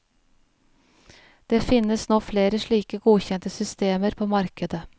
Det finnes nå flere slike godkjente systemer på markedet.